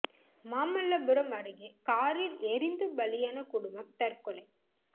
மாமல்லபுரம் அருகே காரில் எரிந்து பலியான குடும்பம் தற்கொலை